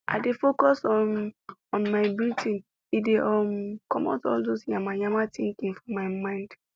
i dey focus um on my breathing e dey um comot all dos yamamaya thinking for my mind